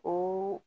O